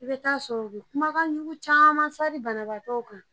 I bɛ taa sɔrɔ u bɛ kumakanjugu caman sari banabaatɔ kan